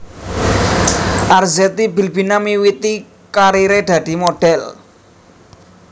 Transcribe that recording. Arzetti Bilbina miwiti karire dadi modhél